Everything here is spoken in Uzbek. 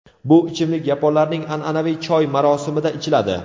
Bu ichimlik yaponlarning an’anaviy choy marosimida ichiladi.